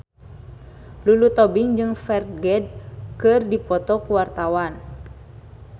Lulu Tobing jeung Ferdge keur dipoto ku wartawan